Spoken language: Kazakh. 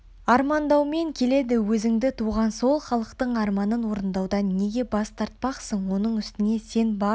армандаумен келеді өзіңді туған сол халықтың арманын орындаудан неге бас тартпақсың оның үстіне сен барлық